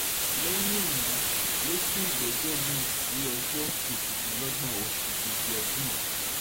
lẹ́yìn èyí ló sún ìgbẹ́jọ́ mi-ín sí ọjọ́ kejìdínlógún oṣù keje ọdún yìí